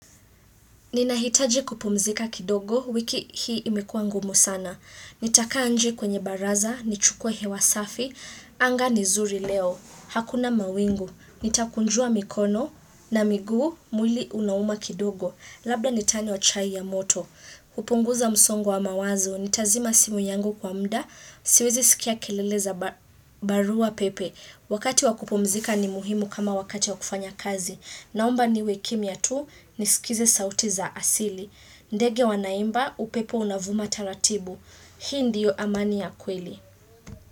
Ninahitaji kupumzika kidogo, wiki hii imekua ngumu sana. Nitakaa nje kwenye baraza, nichukue hewa safi, anga ni zuri leo. Hakuna mawingu, nitakunjua mikono na miguu, mwili unauma kidogo. Labda nitanywa chai ya moto. Hupunguza msongo wa mawazo, nitazima simu yangu kwa mda, siwezi sikia kelele za barua pepe. Wakati wa kupumzika ni muhimu kama wakati wa kufanya kazi. Naomba niwe kimya tu nisikize sauti za asili. Ndege wanaimba upepo unavuma taratibu. Hii ndio amani ya kweli.